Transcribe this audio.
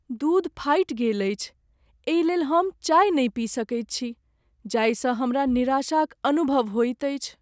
दूध फाटि गेल अछि एहिलेल हम चाय नहि पी सकैत छी जाहिसँ हमरा निराशाक अनुभव होएत अछि।